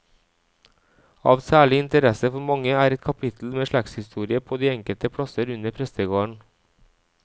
Av særlig interesse for mange er et kapittel med slektshistorie på de enkelte plasser under prestegarden.